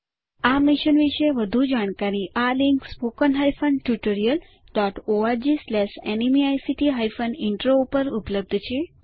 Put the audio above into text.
આ મિશન વિશે વધુ જાણકારી આ લિંક httpspoken tutorialorgNMEICT Intro ઉપર ઉપલબ્ધ છે